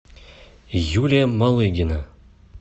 юлия малыгина